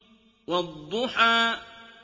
وَالضُّحَىٰ